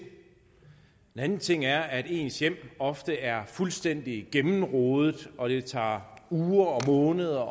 en anden ting er at ens hjem ofte er fuldstændig gennemrodet og det tager uger og måneder